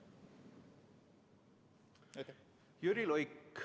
Jüri Luik.